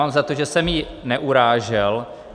Mám za to, že jsem ji neurážel.